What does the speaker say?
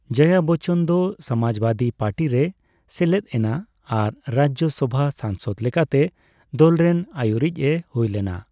ᱡᱚᱭᱟ ᱵᱚᱪᱪᱚᱱ ᱫᱚ ᱥᱚᱢᱟᱡᱵᱟᱹᱫᱤ ᱯᱟᱹᱴᱤ ᱨᱮᱭ ᱥᱮᱞᱮᱛᱼᱮᱱᱟ ᱟᱨ ᱨᱟᱡᱡᱚ ᱥᱚᱣᱟ ᱥᱟᱝᱥᱚᱫ ᱞᱮᱠᱟᱛᱮ ᱫᱚᱞᱨᱮᱱ ᱟᱹᱭᱩᱨᱤᱪᱼᱮ ᱦᱩᱭᱞᱮᱱᱟ ᱾